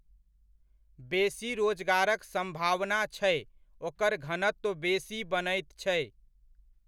बेसी रोजगारक सम्भवना छै ओकर घनत्व बेसी बनैत छै।